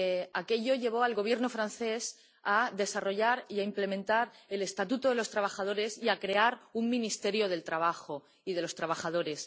Aquello llevó al Gobierno francés a desarrollar y a implementar el estatuto de los trabajadores y a crear un Ministerio del Trabajo y de los Trabajadores.